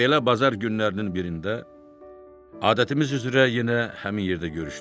Belə bazar günlərinin birində adətimiz üzrə yenə həmin yerdə görüşdük.